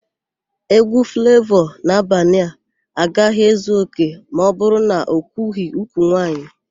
Égwú Flavọ n'Abanịa agaghị ezu òkè ma ọbụrụ na okwughỊ úkwù nwaanyị.